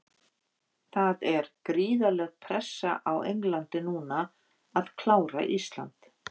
Það er gríðarleg pressa á Englandi núna að klára Ísland.